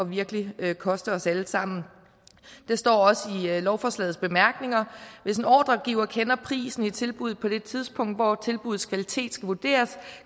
virkelig at koste os alle sammen det står også i lovforslagets bemærkninger hvis ordregiver kender prisen i tilbuddet på det tidspunkt hvor tilbuddets kvalitet skal vurderes